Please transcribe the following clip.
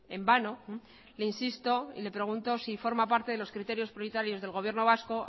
en vano le insisto y le pregunto si forma parte de los criterios prioritarios del gobierno vasco